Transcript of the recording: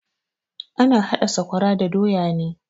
Ana hada sakwara da doya ne.